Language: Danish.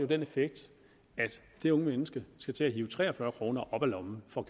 den effekt at det unge menneske skal til at hive tre og fyrre kroner op af lommen for